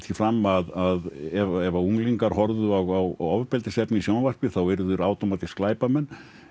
fram að ef unglingar horfðu á ofbeldisefni í sjónvarpi yrðu þeir glæpamenn